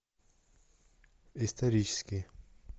исторический